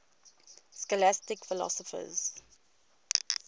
scholastic philosophers